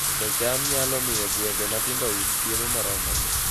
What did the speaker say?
Pidho cham nyalo miyo gwenge matindo oyud chiemo moromogi